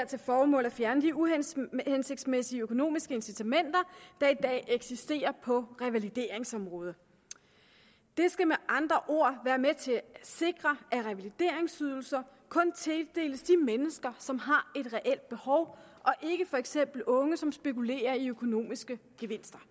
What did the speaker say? til formål at fjerne de uhensigtsmæssige økonomiske incitamenter der i dag eksisterer på revalideringsområdet det skal med andre ord være med til at sikre at revalideringsydelser kun tildeles de mennesker som har et reelt behov og ikke for eksempel unge som spekulerer i økonomiske gevinster